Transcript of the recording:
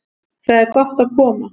Þar er gott að koma.